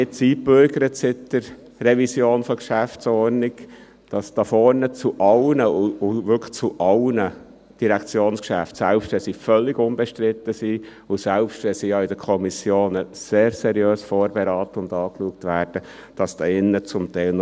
Seit der Revision der GO hat es sich eingebürgert, dass hier vorne zu allen, wirklich zu allen Direktionsgeschäften hier drin noch relativ lange gesprochen wird, selbst dann, wenn diese völlig unbestritten sind und selbst dann, wenn diese in den Kommissionen sehr seriös vorberaten und angeschaut wurden.